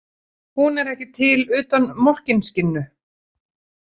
Hún er ekki til utan Morkinskinnu.